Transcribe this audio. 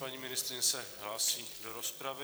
Paní ministryně se hlásí do rozpravy.